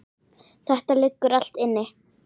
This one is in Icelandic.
Þetta liggur allt inni